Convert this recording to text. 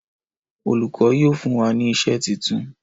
Olùkó yíò fún wá ní iṣé títún.